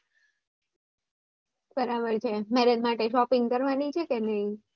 બરાબર છે marriage માટે shopping કરવાની છે કે નઈ